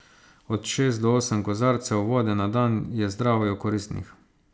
Od šest do osem kozarcev vode na dan je zdravju koristnih.